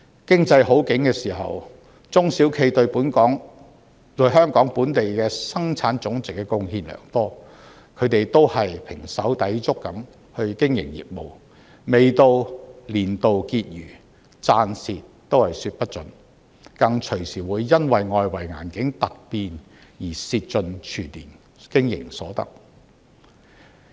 經濟好景時，中小企對香港本地生產總值貢獻良多，它們都是胼手胝足地經營業務，未到年度結餘，賺蝕也說不準，更隨時會因為外圍環境突變而蝕盡全年經營所得。